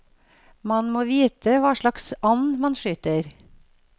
Man må vite hva slags and man skyter.